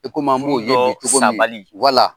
I an b'o dɔn sa bali ye cogo min wala.